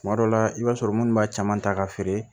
Tuma dɔ la i b'a sɔrɔ munnu b'a caman ta ka feere